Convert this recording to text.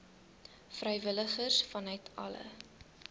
vrywilligers vanuit alle